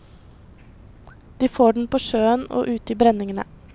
De får den på sjøen og ut i brenningene.